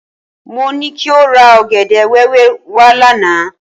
Mo ní kí o ra ọ̀gẹ̀dẹ̀ wẹ́wẹ́ wá lánàá.